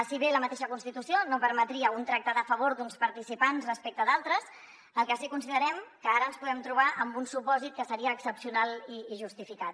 si bé la mateixa constitució no permetria un tracte de favor d’uns participants respecte d’altres el que sí que considerem que ara ens podem trobar amb un supòsit que seria excepcional i justificat